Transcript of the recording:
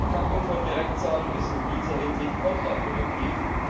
Eine Kappung von Direktzahlungen ist in dieser Hinsicht kontraproduktiv.